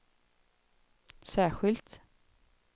särskilt